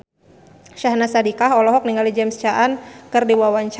Syahnaz Sadiqah olohok ningali James Caan keur diwawancara